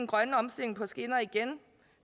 grønne omstilling på skinner igen